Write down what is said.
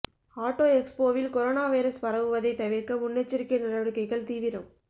auto எக்ஸ்போவில் corona virus பரவுவதை தவிர்க்க முன்னெச்சரிக்கை நடவடிக்கைகள் தீவிரம்